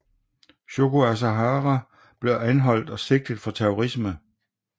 Shoko Asahara blev anholdt og sigtet for terrorisme